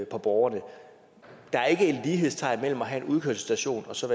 på borgerne der er ikke lighedstegn mellem at have en udkørselsstation og så